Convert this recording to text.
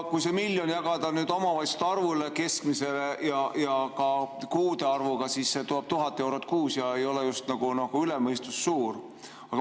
Kui see miljon jagada omavalitsuste arvuga ja kuude arvuga, siis see teeb 1000 eurot kuus ja see ei ole just üle mõistuse suur.